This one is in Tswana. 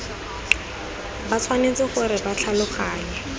ba tshwanetse gore ba tlhaloganye